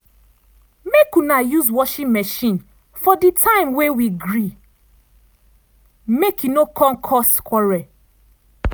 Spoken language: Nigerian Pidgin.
make una use washing machine for di time wey we agree make e no come cause quarrel.